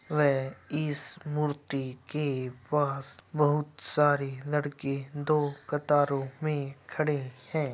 व ईश मूर्ति के पास बहुत सारे लड़के दो कतारों में खड़े हैं।